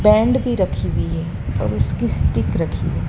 band भी रखी हुई है और उसकी स्टीक रखी है --